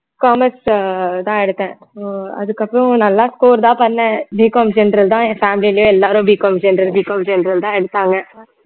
commerce தான் எடுத்தேன் so அதுக்கப்புறம் நல்லா score தான் பண்ணேன் BCOMgeneral தான் என் family லயே எல்லாரும் BCOMgeneralBCOMgeneral தான் எடுத்தாங்க